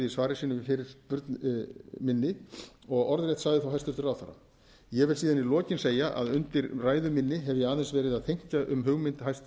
svari sínu við fyrirspurn minni og orðrétt sagði þá hæstvirtur ráðherra ég vil síðan í lokin segja að undir ræðu minni hef ég aðeins verið að þenkja um hugmynd